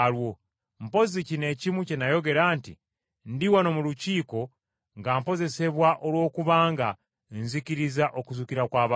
Mpozzi kino ekimu kye nayogera nti, ‘Ndi wano mu Lukiiko nga mpozesebwa olwokubanga nzikiriza okuzuukira kw’abafu!’ ”